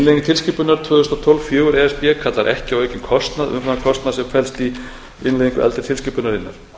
tilskipunar tvö þúsund og fjórtán fjögur e s b kallar ekki á aukinn kostnað umfram kostnað sem felst í innleiðingu eldri tilskipunarinnar